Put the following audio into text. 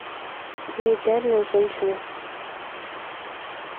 неидеальная женщина